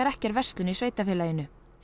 ekki er verslun í sveitarfélaginu